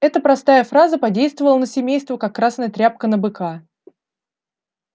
эта простая фраза подействовала на семейство как красная тряпка на быка